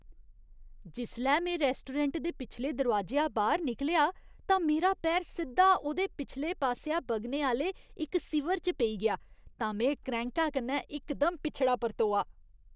जिसलै में रैस्टोरैंट दे पिछले दरोआजेआ बाह्‌र निकलेआ तां मेरा पैर सिद्धा ओह्दे पिछले पासेआ बगने आह्‌ले इक सीवर च पेई गेआ तां में क्रैंह्का कन्नै इकदम पिछड़ा परतोआ।